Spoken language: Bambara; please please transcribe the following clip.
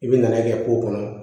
I bɛ nɛn'a kɛ k'o kɔnɔ